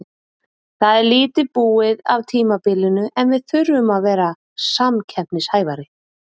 Það er lítið búið af tímabilinu en við þurfum að vera samkeppnishæfari.